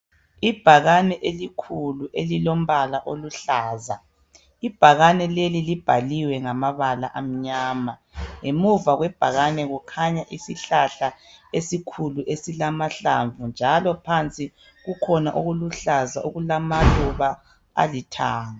Ibhakane elikhulu elilombala oluhlaza, ibhakane leli libhaliwe ngamabala amnyama. Ngemuva kwebhakane kukhanya isihlahla esikhulu esilamahlamvu njalo phansi kukhona okuluhlaza okulamaluba alithanga.